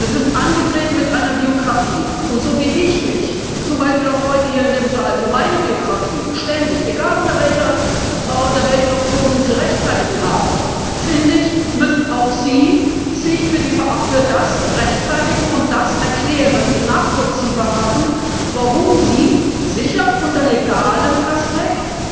Sie sind angetreten mit einer Biografie, und so wie ich mich, zum Beispiel auch heute hier im Saal, für meine Biografie ständig egal unter welchen Optionen zu rechtfertigen habe, müssen auch Sie sich dafür rechtfertigen und erklären, nachvollziehbar machen, warum Sie sicherlich unter legalem Aspekt